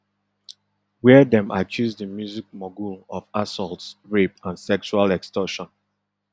wia dem accuse di music mogul of assaults rape and sexual extortion